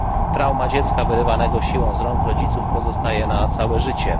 Trauma dziecka wyrywanego siłą z rąk rodziców pozostaje na całe życie.